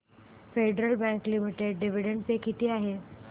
federal Bank Limited dividend pay किती आहे